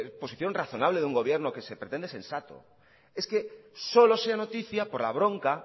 posición razonable de un gobierno que se pretende sensato es que solo sea noticia por la bronca